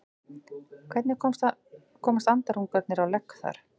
hvernig komast andarungarnir á legg þar